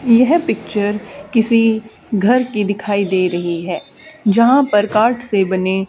यह पिक्चर किसी घर की दिखाई दे रही है जहां पर कार्ड से बने --